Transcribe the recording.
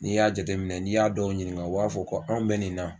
N'i y'a jate minɛ n'i y'a dɔw ɲininka u b'a fɔ ko anw bɛ nin na